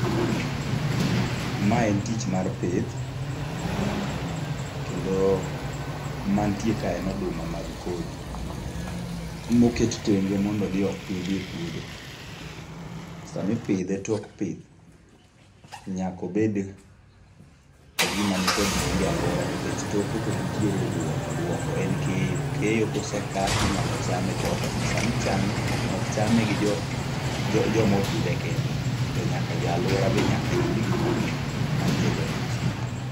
Ma en tich mar pith. Kendo mantie ka en oduma mag kodhi. Moket tenge mondo odhi opidhi e puodho. Sama ipidhe tok pith, nyaka obed gima nikod nengo e alwora, nikech toke to nitiere duoko. Duoko en keyo. Keyo kose ka tinyalo chame, to sama ichame, ok chame gi jo, jo ma opidhe kende. To nyaka jo alwora be nyaka yud gimoro ma iketo e mesa.